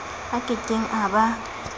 a ke keng a ba